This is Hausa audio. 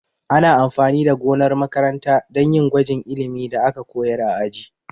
Ana amfani da gonar makaranta dan yin gwajin ilimin da aka koyar a aji